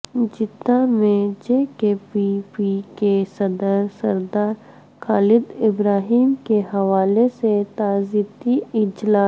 Jeddah میں J K P P کے صدر سردار خالدابراہیم کے حوالے سے تعزیتی اجلاس